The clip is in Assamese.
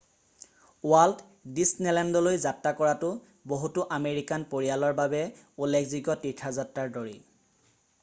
ৱাল্ট ডিজনেলেণ্ডলৈ যাত্ৰা কৰাটো বহুতো আমেৰিকান পৰিয়ালৰ বাবে উল্লেখযোগ্য তীৰ্থযাত্ৰাৰ দৰেই